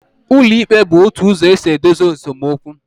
Ụlọikpe bụ otu ụzọ e si edozi esemokwu